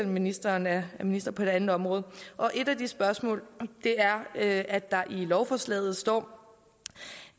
ministeren er minister på et andet område et af de spørgsmål er at at der i lovforslaget står